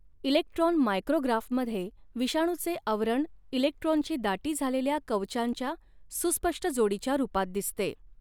Electron मायक्रोग्राफमध्ये विषाणूचे आवरण इलेक्ट्रॉनची दाटी झालेल्या कवचांच्या सुस्पष्ट जोडीच्या रूपात दिसते.